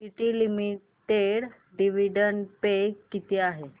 TT limited dividend pay किती आहे